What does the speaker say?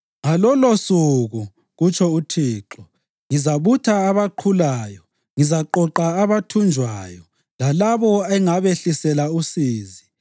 “Ngalolosuku,” kutsho uThixo, “ngizabutha abaqhulayo; ngizaqoqa abathunjwayo lalabo engabehlisela usizi.